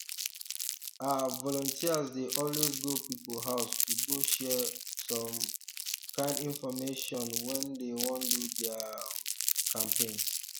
ah volunteers dey always go people house to go share some um kind infomation when dey wan do their um campaigns